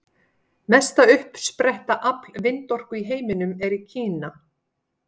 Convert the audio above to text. Mesta uppsetta afl vindorku í heiminum er í Kína.